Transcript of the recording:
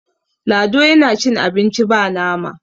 lado yana cin abinci ba nama